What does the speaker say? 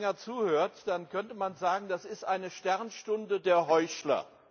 Wenn man hier länger zuhört, dann könnte man sagen, das ist ein Sternstunde der Heuchler!